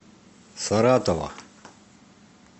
саратова